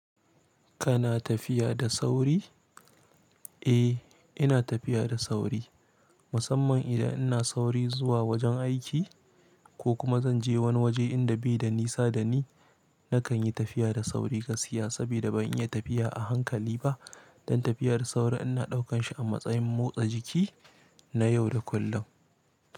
Kana tafiya da sauri? Eh, ina tafiya da sauri. Musamman idan ina sauri zuwa wajen aiki ko kuma zanje wani waje inda bai da nisa da ni nakan yi tafiya da sauri gaskiya sabida ban iya tafiya a hankali ba. Dan tafiyar sauri ina ɗaukan shi a matsayin motsa jiki na yau da kullum.